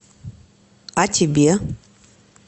а тебе